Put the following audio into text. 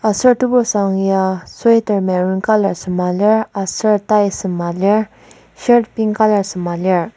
Aser tebursang ya sweater maroon colour sema lir aser tie sema lir shirt pink colour sema lir.